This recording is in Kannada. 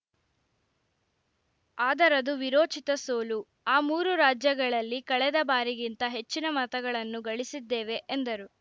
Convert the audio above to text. ಆದರದು ವೀರೋಚಿತ ಸೋಲು ಆ ಮೂರೂ ರಾಜ್ಯಗಳಲ್ಲಿ ಕಳೆದ ಬಾರಿಗಿಂತ ಹೆಚ್ಚಿನ ಮತಗಳನ್ನು ಗಳಿಸಿದ್ದೇವೆ ಎಂದರು